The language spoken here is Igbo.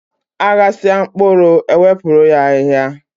A ghasịa mkpụrụ, e wepụrụ ya ahịa.